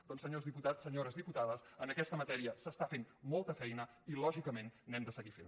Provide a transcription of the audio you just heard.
doncs senyors diputats senyores diputades en aquesta matèria s’està fent molta feina i lògicament n’hem de seguir fent